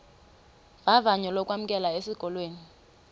vavanyo lokwamkelwa esikolweni